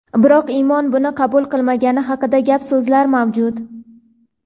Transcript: biroq Imon buni qabul qilmagani haqida gap-so‘zlar mavjud.